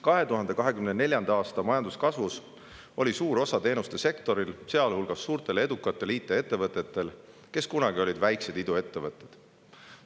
2024. aasta majanduskasvus oli suur osa teenuste sektoril, sealhulgas suurtel ja edukatel IT-ettevõtetel, kes kunagi olid väiksed iduettevõtted.